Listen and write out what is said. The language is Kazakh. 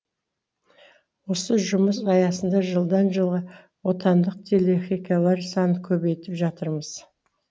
осы жұмыс аясында жылдан жылға отандық телехикаялар санын көбейтіп жатырмыз